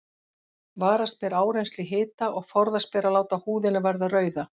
Varast ber áreynslu í hita og forðast ber að láta húðina verða rauða.